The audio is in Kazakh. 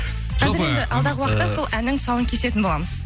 қазір енді алдағы уақытта сол әннің тұсауын кесетін боламыз